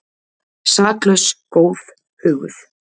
Saklaus, góð, huguð.